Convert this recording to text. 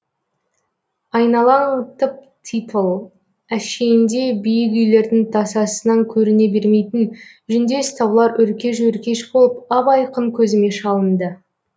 айналаң тып типыл әшейінде биік үйлердің тасасынан көріне бермейтін жүндес таулар өркеш өркеш болып ап айқын көзіме шалынды